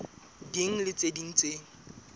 ding le tse ding tse